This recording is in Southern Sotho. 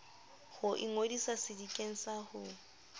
ho ingodisa sedikeng sa ho